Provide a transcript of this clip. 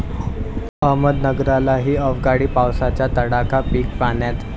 अहमदनगरलाही अवकाळी पावसाचा तडाखा, पिकं पाण्यात!